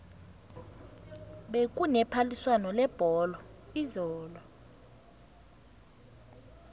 bekune phaliswano lebholo izolo